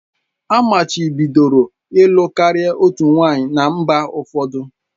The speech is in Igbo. Amachibidoro ịlụ karịa otu nwanyị na mba ụfọdụ